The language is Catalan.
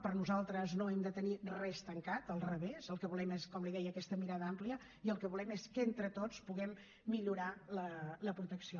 per nosaltres no hem de tenir res tancat al revés el que volem és com li deia aquesta mirada àmplia i el que volem és que entre tots puguem millorar la protecció